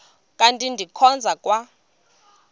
kanti ndikhonza kwa